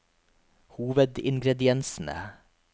hovedingrediensene